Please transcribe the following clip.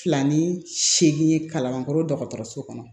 Filan ni seegin ye kalankɔrɔ dɔgɔtɔrɔso kɔnɔ